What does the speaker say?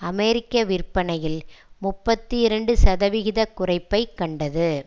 அமெரிக்க விற்பனையில் முப்பத்தி இரண்டு சதவிகித குறைப்பை கண்டது